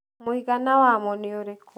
mũigana wamo nĩ ũrĩkũ